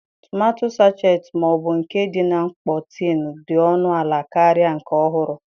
Tomato sachet ma ọ bụ nke dị na mkpọ tin dị ọnụ ala karịa nke ọhụrụ.